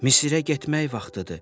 Misirə getmək vaxtıdır.